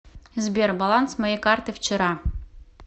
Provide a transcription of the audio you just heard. сбер баланс моей карты вчера